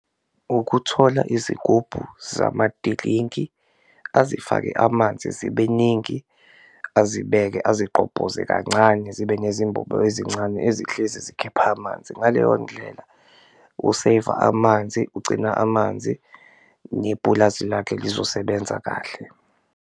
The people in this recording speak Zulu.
Ukuthola izigubhu zamadilinki azifake amanzi zibe ningi, azibeke, azigqobhoze kancane zibe nezimbobo ezincane ezihlezi zikhipha amanzi, ngaleyo ndlela useyiva amanzi, ugcina amanzi nepulazi lakhe lizosebenza kahle.